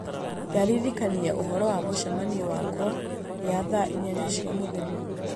Ndirikania ũhoro wa mũcemanio wakwa ya thaa inyanya cia mũthenya